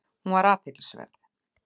Hún var athyglisverð.